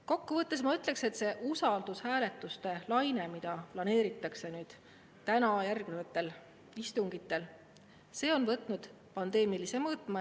Kokku võttes ma ütleksin, et see usaldushääletuste laine, mida planeeritakse täna ja järgnevatel istungitel, on võtnud pandeemilise mõõtme.